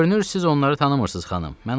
Görünür, siz onları tanımırsınız, xanım.